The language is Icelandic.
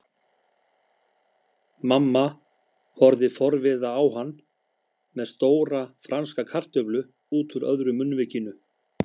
Mamma horfði forviða á hann með stóra franska kartöflu útúr öðru munnvikinu.